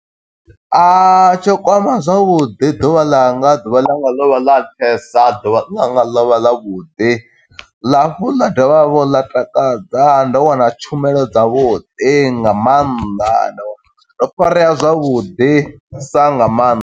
Tsho kwama zwavhuḓi ḓuvha ḽanga, ḓuvha ḽanga ḽo vha ḽa nṱhesa, ḓuvha ḽanga ḽo vha ḽa vhuḓi. Ḽa hafhu ḽa dovha hafhu ḽa takadza, ndo wana tshumelo dza vhuḓi nga maanḓa ndo farea zwavhuḓisa nga maanḓa.